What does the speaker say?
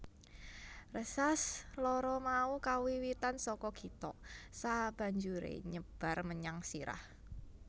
Rsas lara mau kawiwitan saka githok sabanjure nyebar menyang sirah